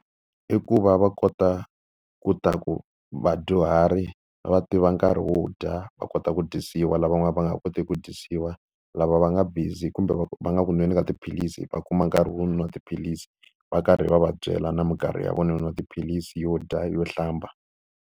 I ku va va kota leswaku vadyuhari va tiva nkarhi wo dya, va kota ku dyisiwa lavan'wana va nga kotiki ku dyisiwa. Lava va nga busy kumbe va nga ku nweni ka tiphilisi va kuma nkarhi wo nwa tiphilisi, va karhi va va byela na mikarhi ya vona yo nwa tiphilisi, yo dya, yo hlamba.